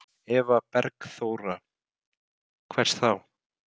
Eva Bergþóra: Hvers þá?